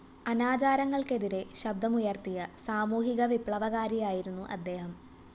അനാചാരങ്ങള്‍ക്കെതിരെ ശബ്ദമുയര്‍ത്തിയ സാമൂഹികവിപ്ലവകാരിയായിരുന്നു അദ്ദേഹം